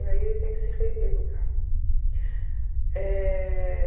E aí ele tem que se reeducar. Eh...